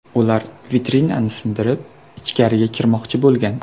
Ular vitrinani sindirib, ichkariga kirmoqchi bo‘lgan.